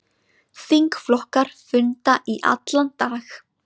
Þingflokkar funda í allan dag